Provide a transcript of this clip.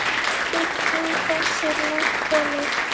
Bygging þess er langt komin.